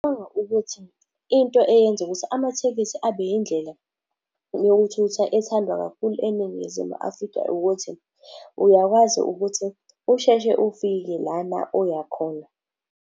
Uma ukuthi into eyenza ukuthi amathekisi abe yindlela yokuthutha ethandwa kakhulu eNingizimu Afrika ukuthi, uyakwazi ukuthi usheshe ufike lana oyakhona.